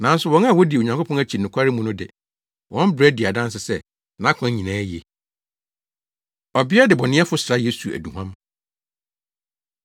Nanso wɔn a wodi Onyankopɔn akyi nokware mu no de, wɔn bra di adanse sɛ, nʼakwan nyinaa ye.” Ɔbea Debɔneyɛfo Sra Yesu Aduhuam